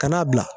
Ka n'a bila